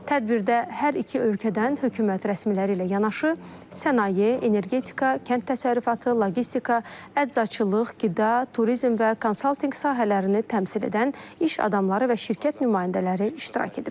Tədbirdə hər iki ölkədən hökumət rəsmiləri ilə yanaşı, sənaye, energetika, kənd təsərrüfatı, logistika, əczaçılıq, qida, turizm və konsaltinq sahələrini təmsil edən iş adamları və şirkət nümayəndələri iştirak ediblər.